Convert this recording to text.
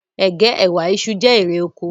Ègé, ẹwà, iṣu, jẹ́ èrè oko